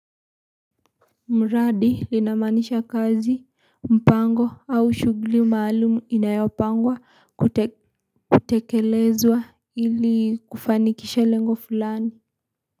Mradi linamaanisha kazi, mpango, au shughuli maalumu inayopangwa kutekelezwa ili kufanikisha lengo fulani.